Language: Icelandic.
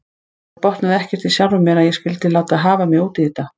Ég botnaði ekkert í sjálfri mér að ég skyldi láta hafa mig út í þetta.